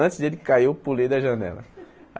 Antes dele cair, eu pulei da janela.